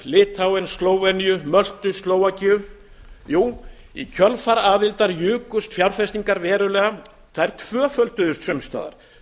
litháen slóveníu möltu og slóvakíu jú í kjölfar aðildar jukust fjárfestingar verulega þær tvöfölduðust sums staðar